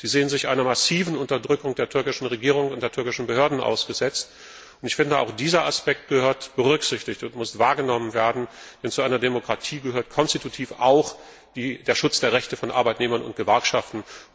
Sie sehen sich einer massiven Unterdrückung seitens der türkischen Regierung und der türkischen Behörden ausgesetzt. Dieser Aspekt muss berücksichtigt und wahrgenommen werden, denn zu einer Demokratie gehört konstitutiv auch der Schutz der Rechte von Arbeitnehmern und Gewerkschaften.